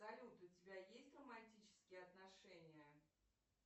салют у тебя есть романтические отношения